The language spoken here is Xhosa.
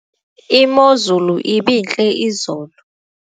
imozulu ibintle izolo